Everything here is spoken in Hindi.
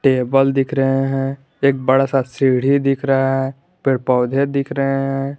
टेबल दिख रहे हैं एक बड़ा सा सीढ़ी दिख रहा है पेड़ पौधे दिख रहे हैं।